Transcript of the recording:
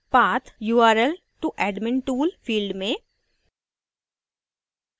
path/url to admin tool: field में